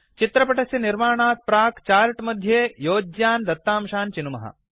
चित्रपटस्य निर्माणात् प्राक् चार्ट् मध्ये योज्यान् दत्तांशान् चिनुमः